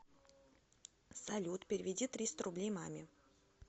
салют переведи триста рублей маме